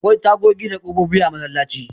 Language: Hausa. Akwai tagogi da ƙofofi a masallaci.